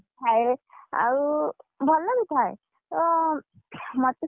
ଥାଏ ଆଉ, ଭଲ ବି ଥାଏ, ତ ମତେ ସବୁ,